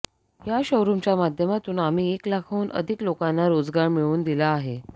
या शोरुमच्या माध्यमातून आम्ही एक लाखहून अधिक लोकांना रोजगार मिळवून दिला आहे